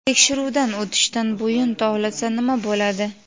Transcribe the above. Tekshiruvdan o‘tishdan bo‘yin tovlasa nima bo‘ladi?.